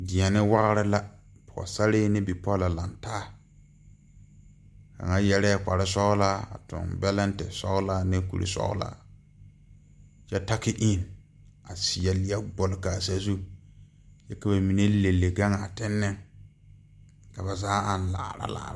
Deɛne wagre la Pɔɔsarre ne bipɔlɔ lang taa kaŋa yɛrɛɛ kparesɔglaa tuŋ bɛlɛnte sɔglaa ne kuresɔglaa kyɛ taki een a seɛ lie gbul kaa sazu kyɛ ka ba mine le le gaŋaa tennen ka ba zaa aŋ laara laara.